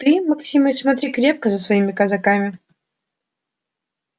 ты максимыч смотри крепко за своими казаками